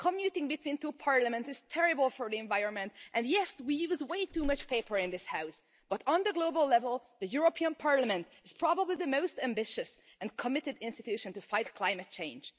Commuting between two parliaments is terrible for the environment and, yes, we use way too much paper in this House but, on the global level, the European Parliament is probably the most ambitious and committed institution to fight climate change.